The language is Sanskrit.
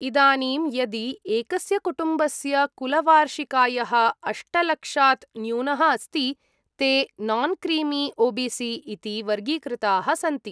इदानीं, यदि एकस्य कुटुम्बस्य कुलवार्षिकायः अष्ट लक्षात् न्यूनः अस्ति, ते नान्क्रीमी ओ बी सी इति वर्गीकृताः सन्ति।